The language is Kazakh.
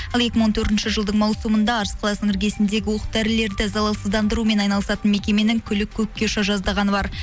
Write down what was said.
ал екі мың он төртінші жылдың маусымында арыс қаласының іргесіндегі оқ дәрілерді залалсыздандырумен айналысатын мекеменің күлі көкке ұша жаздағаны бар